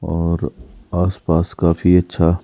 और आसपास काफी अच्छा--